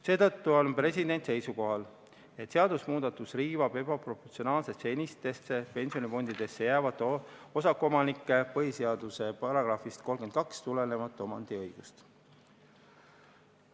Seetõttu on president seisukohal, et seadusemuudatus riivab ebaproportsionaalselt senistesse pensionifondidesse jäävate osakuomanike põhiseaduse §-st 32 tulenevat omandiõigust.